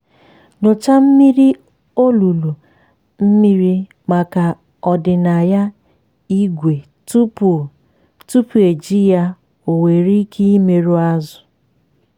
nyochaa mmiri olulu mmiri maka ọdịnaya ígwè tupu tupu eji ya ọ nwere ike imerụ azụ̀.